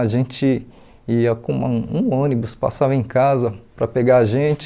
A gente ia com um ônibus, passava em casa para pegar a gente.